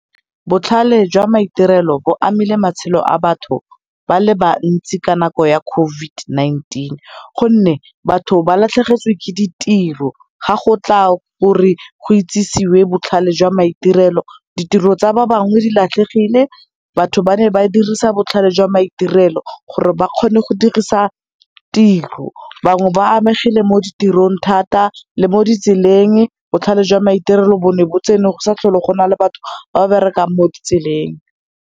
Botlhale jwa maitirelo bo amile matshelo a batho ba le bantsi ka nako ya COVID-19, gonne batho ba latlhegetswe ke ditiro ga gotla gore go itsisiwe botlhale jwa maitirelo. Ditiro tsa ba bangwe di latlhegile, batho ba ne ba dirisa botlhale jwa maitirelo gore ba kgone go dirisa tiro. Bangwe ba amegile mo ditirong thata le mo ditseleng, botlhale jwa maitirelo bo ne bo tsene go sa tlhole gona le batho ba berekang mo ditseleng.